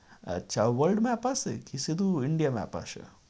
আচ্ছা world map আসে? কি শুধু india আসে?